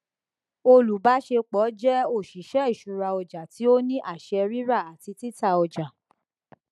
olùbáṣepọ jẹ óṣìṣẹ ìṣúra ọjà tí ó ní àṣẹ rírà àti títà ọjà